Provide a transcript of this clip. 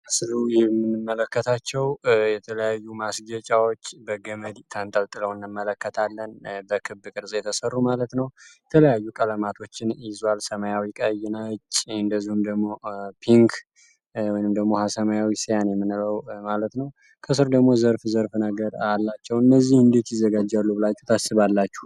በምስሉ የምንመለከታቸው የተለያዩ ማስጀጫዎች በገመድ ታንተልጥለው እንመለከታለን። በክብ ቅርዝ የተሰሩ ማለት ነው የተለያዩ ቀለማቶችን ኢዛዋል ሰማያዊ ቀይና ነጭ እንደሁም ደግሞ ፒንክ እንዲሁም ደግሞ ሰማያዊ ሳያን የምንለው ማለት ነው ከስር ደግሞ ዘርፍ ዘርፍ ነገር አላቸው እነዚህ እንዲች ይዘጋጅ ሉብላች ታስባላቸሁ?